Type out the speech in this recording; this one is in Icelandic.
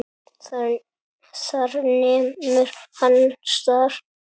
Þar nemur hann staðar.